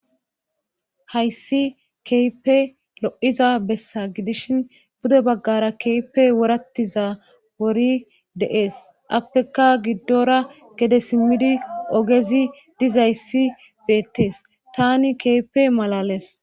Hayssi keype lo'iza bessa gidishin bude baggara keype worattiza wori deees appeka giddora gede simmidi ogezi dizayssi beettes tani keype malales.